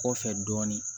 Kɔfɛ dɔɔnin